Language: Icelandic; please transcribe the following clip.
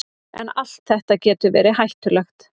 En allt þetta getur verið hættulegt.